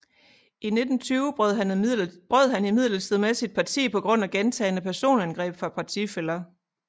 I 1920 brød han imidlertid med sit parti på grund af gentagne personangreb fra partifæller